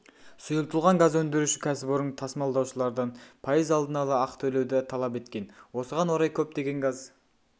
сұйылтылған газ өндіруші кәсіпорын тасымалдаушылардан пайыз алдын ала ақы төлеуді талап еткен осыған орай көптеген газ